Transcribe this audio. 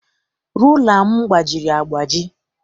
Rula m gbajiri agbaji.